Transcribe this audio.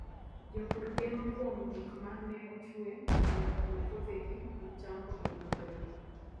Jopur geno kuom gik ma ne ochwe mondo omi puothegi mag cham obed maber.